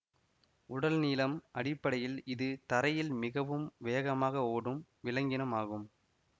உடல் நீளம் அடிப்படையில் இது தரையில் மிகவும் வேகமாக ஓடும் விலங்கினம் ஆகும்